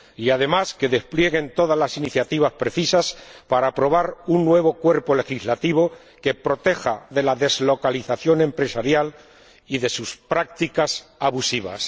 Y, además, que desplieguen todas las iniciativas precisas para aprobar un nuevo cuerpo legislativo que proteja de la deslocalización empresarial y de sus prácticas abusivas.